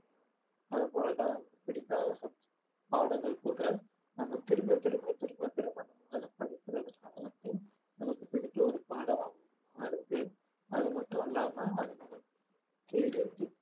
அது போலதான் பிடிக்காத subject பாடங்கள் கூட நம்ம திரும்ப திரும்ப திரும்ப திரும்ப நாம அத படிக்குறதனால வந்து நமக்கு பிடித்த ஒரு பாடமா மாறுது அது மட்டும் இல்லாம அதை தெரிஞ்சு